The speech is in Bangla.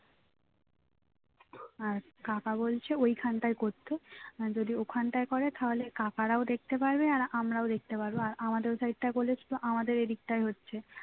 আর কাকা বলছে ওইখানটায় করতে আর যদি ওখানটায় করে তাহলে কাকারাও দেখতে পারবে আর আমরাও দেখতে পারবো আর আমাদের ওই side টায় করলে শুধু আমাদের এই দিকটায় হচ্ছে